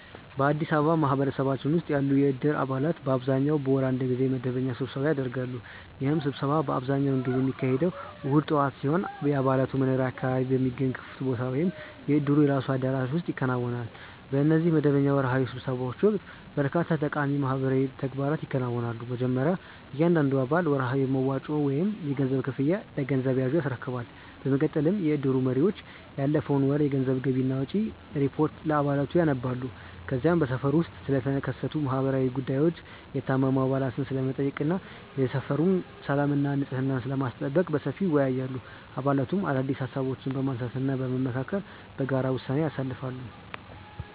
በአዲስ አበባ ማህበረሰባችን ውስጥ ያሉ የእድር አባላት በአብዛኛው በወር አንድ ጊዜ መደበኛ ስብሰባ ያደርጋሉ። ይህ ስብሰባ አብዛኛውን ጊዜ የሚካሄደው እሁድ ጠዋት ሲሆን፣ የአባላቱ መኖሪያ አካባቢ በሚገኝ ክፍት ቦታ ወይም የእድሩ የራሱ አዳራሽ ውስጥ ይከናወናል። በእነዚህ መደበኛ ወርሃዊ ስብሰባዎች ወቅት በርካታ ጠቃሚ ማህበራዊ ተግባራት ይከናወናሉ። መጀመሪያ እያንዳንዱ አባል ወርሃዊ መዋጮውን ወይም የገንዘብ ክፍያውን ለገንዘብ ያዡ ያስረክባል። በመቀጠልም የእድሩ መሪዎች ያለፈውን ወር የገንዘብ ገቢና ወጪ ሪፖርት ለአባላቱ ያነባሉ። ከዚያም በሰፈሩ ውስጥ ስለተከሰቱ ማህበራዊ ጉዳዮች፣ የታመሙ አባላትን ስለመጠየቅ እና የሰፈሩን ሰላምና ንጽሕና ስለማስጠበቅ በሰፊው ይወያያሉ። አባላቱም አዳዲስ ሃሳቦችን በማንሳትና በመመካከር በጋራ ውሳኔዎችን ያሳልፋሉ።